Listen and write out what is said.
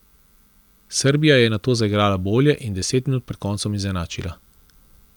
Srbija je nato zaigrala bolje in deset minut pred koncem izenačila.